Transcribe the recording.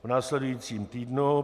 V následujícím týdnu